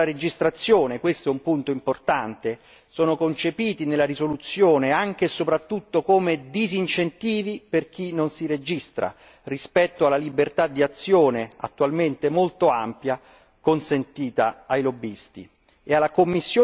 Gli incentivi alla registrazione punto, questo, importante sono concepiti nella risoluzione anche e soprattutto come disincentivi per chi non si registra rispetto alla libertà di azione, attualmente molto ampia, consentita ai lobbisti.